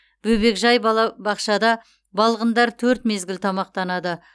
бөбекжай бала бақшада балғындар төрт мезгіл тамақтанады